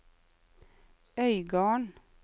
Øygarden